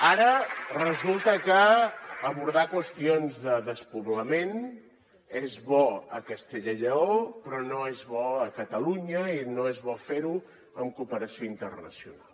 ara resulta que abordar qüestions de despoblament és bo a castella i lleó però no és bo a catalunya i no és bo fer ho amb cooperació internacional